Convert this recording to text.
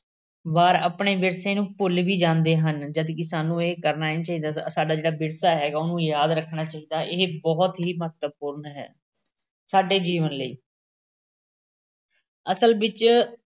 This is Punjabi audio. ਵਾਰ ਆਪਣੇ ਵਿਰਸੇ ਨੂੰ ਭੁੱਲ ਵੀ ਜਾਂਦੇ ਹਨ। ਜਦਕਿ ਸਾਨੂੰ ਇਹ ਕਰਨਾ ਨਹੀਂ ਚਾਹੀਦਾ, ਸਾਡਾ ਜਿਹੜਾ ਵਿਰਸਾ ਹੈਗਾ ਉਹਨੂੰ ਯਾਦ ਰੱਖਣਾ ਚਾਹੀਦਾ, ਇਹ ਬਹੁਤ ਹੀ ਮਹੱਤਵਪੂਰਨ ਹੈ, ਸਾਡੇ ਜੀਵਨ ਲਈ, ਅਸਲ ਵਿੱਚ